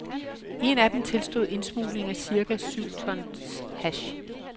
En af dem tilstod indsmugling af cirka syv tons hash.